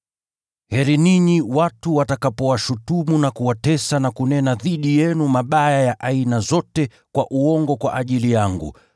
“Heri ninyi watu watakapowashutumu, na kuwatesa na kunena dhidi yenu mabaya ya aina zote kwa uongo kwa ajili yangu.